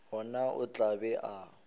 gona o tla be a